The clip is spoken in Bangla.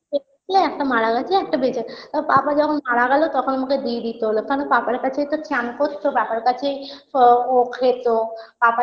সত্যি একটা মারা গেছে একটা বেঁচে তাও Papa যখন মারা গেলো তখন ওকে দিয়ে দিতে হলো কেনো papa -র কাছেই তো চান করতো papa -র কাছেই ও ও খেতো papa